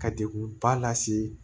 Ka degun ba lase